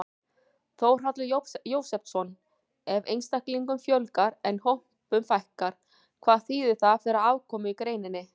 Þórhallur Jósefsson: Ef einstaklingum fjölgar en hópum fækkar, hvað þýðir það fyrir afkomu í greininni?